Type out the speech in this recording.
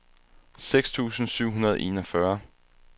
seks tusind syv hundrede og enogfyrre